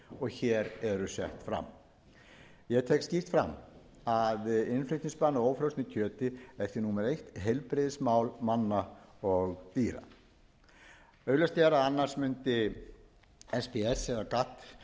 og hér eru sett fram ég tek skýrt fram að útflutningsbann á ófrosnu kjöti er því númer eitt heilbrigðismál manna og dýra augljóst er að annars mundi kýs eða gatt